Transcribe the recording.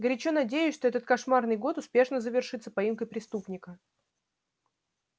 горячо надеюсь что этот кошмарный год успешно завершится поимкой преступника